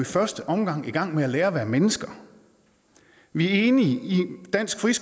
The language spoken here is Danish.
første omgang i gang med at lære at være mennesker vi er enige i dansk